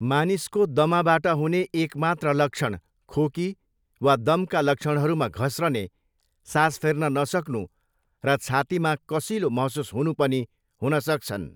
मानिसको दमाबाट हुने एक मात्र लक्षण खोकी वा दमका लक्षणहरूमा घस्रने, सास फेर्न नसक्नु र छातीमा कसिलो महसुस हुनु पनि हुन सक्छन्।